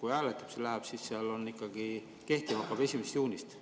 kui hääletamiseks läheb, siis on seal, et kehtima hakkab ikka 1. juunist?